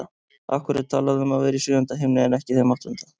Af hverju er talað um að vera í sjöunda himni en ekki þeim áttunda?